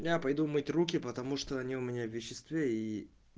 я пойду мыть руки потому что они у меня в веществе и